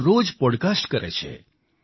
તેઓ રોજ પોડકાસ્ટ કરે છે